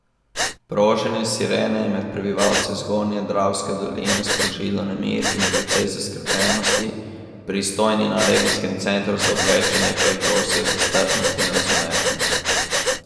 Proženje sirene je med prebivalci zgornje Dravske doline sprožilo nemir in precej zaskrbljenosti, pristojni na regijskem centru za obveščanje pa jih prosijo za strpnost in razumevanje.